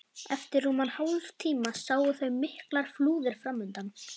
Eftir rúman hálftíma sáu þau miklar flúðir framundan.